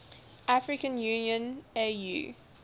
african union au